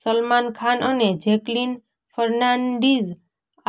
સલમાન ખાન અને જેકલીન ફર્નાન્ડીઝ